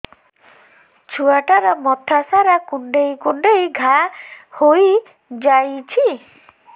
ଛୁଆଟାର ମଥା ସାରା କୁଂଡେଇ କୁଂଡେଇ ଘାଆ ହୋଇ ଯାଇଛି